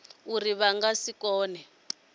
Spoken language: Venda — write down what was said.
uri vha nga si kone